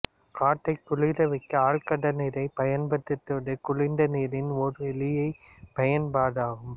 காற்றைக் குளிர்விக்க ஆழ் கடல் நீரைப் பயன்படுத்துவது குளிர்ந்த நீரின் ஓர் எளிய பயன்பாடாகும்